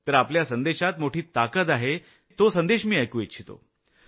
तर आपल्या संदेशात मोठी ताकद आहे तो मी ऐकू इच्छितो